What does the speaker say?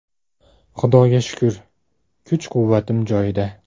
Xudoga shukr, kuch-quvvatim joyida.